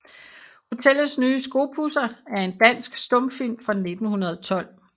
Hotellets nye Skopudser er en dansk stumfilm fra 1912